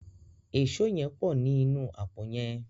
Èṣó yén pọ ní inú àpò yén.